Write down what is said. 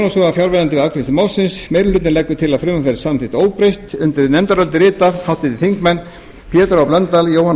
fjarverandi við afgreiðslu málsins meiri hlutinn leggur til að frumvarpið verði samþykkt óbreytt undir nefndarálitið rita háttvirtir þingmenn pétur h blöndal jóhanna